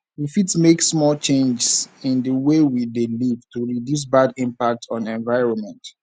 we fit make small changes in di wey we dey live to reduce bad impact on environment